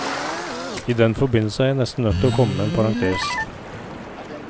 I den forbindelse er jeg nesten nødt til å komme med en parentes.